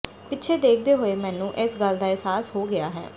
ਪਿੱਛੇ ਦੇਖਦੇ ਹੋਏ ਮੈਨੂੰ ਇਸ ਗੱਲ ਦਾ ਅਹਿਸਾਸ ਹੋ ਗਿਆ ਹੈ